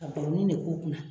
Ka baroni de k'u kun na.